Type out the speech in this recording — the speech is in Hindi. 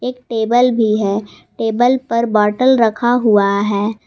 टेबल भी है टेबल पर बॉटल रखा हुआ है।